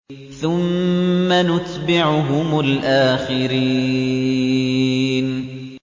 ثُمَّ نُتْبِعُهُمُ الْآخِرِينَ